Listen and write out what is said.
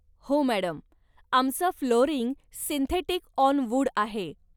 हो मॅडम, आमचं flooring synthetic on wood आहे.